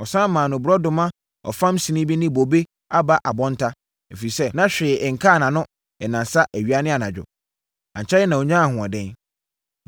Wɔsane maa no borɔdɔma ɔfam sin bi ne bobe aba abɔnta, ɛfiri sɛ, na hwee nkaa nʼano nnansa awia ne anadwo. Ankyɛre na ɔnyaa ahoɔden.